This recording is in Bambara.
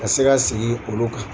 Ka se ka segin olu kan.